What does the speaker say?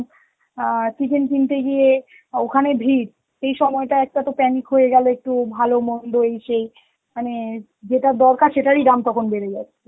আঁ chicken কিনতে গিয়ে আঁ ওখানে ভিড়. সেই সময়টা একটা তো panic হয়ে গেলে একটু ভালো মন্দ এই সেই মানে যেটা দরকার সেটারই দাম তখন বেড়ে যাবে.